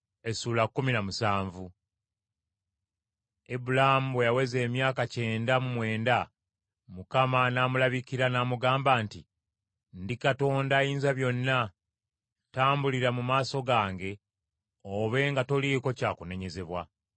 Ibulaamu bwe yaweza emyaka kyenda mu mwenda, Mukama n’amulabikira, n’amugamba nti, “Ndi Katonda Ayinzabyonna, tambulira mu maaso gange obe nga toliiko kya kunenyezebwa.